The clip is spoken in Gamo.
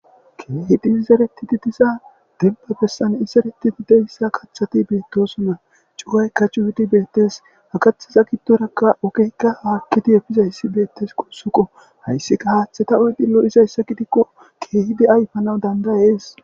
keehidi izeretidi diza denbba bessan izereti dideyssa kathati beettosonna cuwaykka cuhudi beettes haqathiza giddorakka okeykka haakkidi efizayssi beettes qossuqo hayssika haaththeta uydilo izayssa gidikko keehidi ayfana dandayees.